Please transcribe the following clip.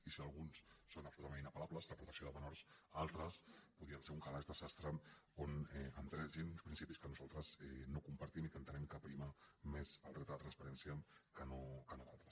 i si alguns són absolutament inapellables la protecció de menors altres podrien ser un calaix de sastre on entressin principis que nosaltres no compartim i en què entenem que prima més el dret a la transparència que no d’altres